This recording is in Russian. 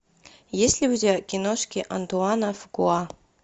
есть ли у тебя киношки антуана фукуа